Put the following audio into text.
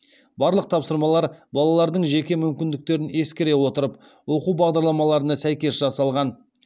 барлық тапсырмалар балалардың жеке мүмкіндіктерін ескере отырып оқу бағдарламаларына сәйкес жасалған